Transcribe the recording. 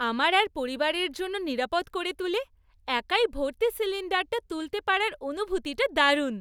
আমার আর পরিবারের জন্য নিরাপদ করে তুলে, একাই ভর্তি সিলিণ্ডারটা তুলতে পারার অনুভূতিটা দারুণ।